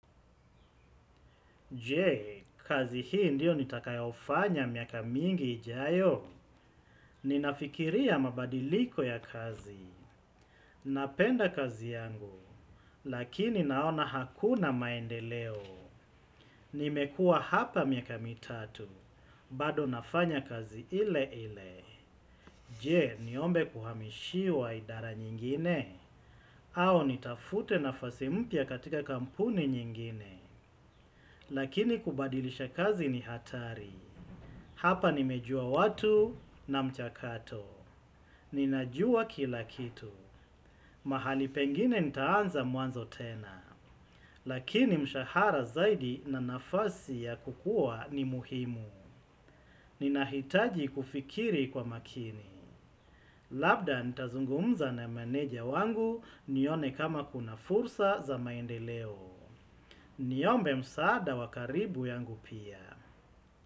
Je, kazi hii ndiyo nitakayoifanya miaka mingi ijayo? Ninafikiria mabadiliko ya kazi. Napenda kazi yangu, lakini naona hakuna maendeleo. Nimekuwa hapa miaka mitatu, bado nafanya kazi ile ile. Je, niombe kuhamishiwa idara nyingine? Au nitafute nafasi mpya katika kampuni nyingine? Lakini kubadilisha kazi ni hatari. Hapa nimejua watu na mchakato. Ninajua kila kitu. Mahali pengine nitaanza mwanzo tena. Lakini mshahara zaidi na nafasi ya kukua ni muhimu. Ninahitaji kufikiri kwa makini. Labda nitazungumza na meneja wangu nione kama kuna fursa za maendeleo. Niombe msaada wa karibu yangu pia.